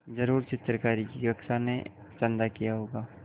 ज़रूर चित्रकारी की कक्षा ने चंदा किया होगा